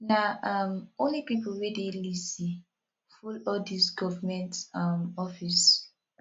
na um only pipo wey dey lazy full all dese government um office